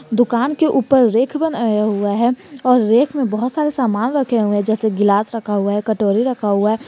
दुकान के ऊपर रेख बनाया हुआ है और रेख में बहुत सारे सामान रखे हुए जैसे गिलास रखा हुआ है कटोरी रखा हुआ है।